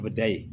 O bɛ da yen